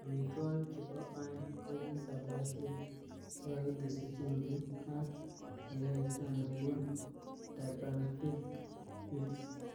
Amitwokik chebo aeng ko ki salatiek chekokiteshi chumbik ,ak eet anebun Durbanvilke Hills.